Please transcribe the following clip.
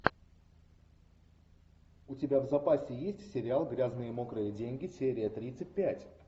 у тебя в запасе есть сериал грязные мокрые деньги серия тридцать пять